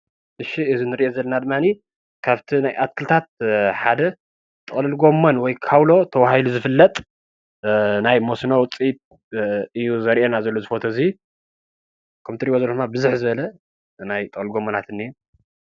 እሺ እዙይ ንርእዮ ዘለና ድማኒ ካብቲ ናይ ኣትክልታት ሓደ ጥቅልል ጎሞን ወይ ድማ ካውሎ ተባሂሉ ዝፍለጥ ናይ መስኖ ውፅኢት እዩ ዘርእየና ዘሎ ፎቶ እዙይ። ከምቲ እትይሪእይዎ ዘለኩም ድማ ብዝሕ ዝበለ ናይ ጥቅልል ጎሞናት እንሄ።